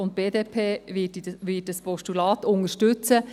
Die BDP wird dieses Postulat unterstützen.